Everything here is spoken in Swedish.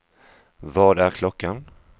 Vad är klockan